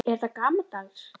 Er þetta gamaldags?